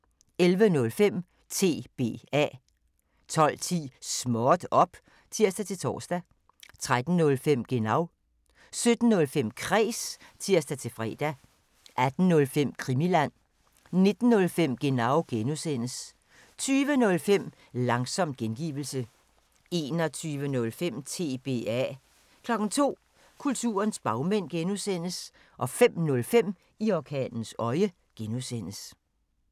11:05: TBA 12:10: Småt op! (tir-tor) 13:05: Genau 17:05: Kræs (tir-fre) 18:05: Krimiland 19:05: Genau (G) 20:05: Langsom gengivelse 21:05: TBA 02:00: Kulturens bagmænd (G) 05:05: I orkanens øje (G)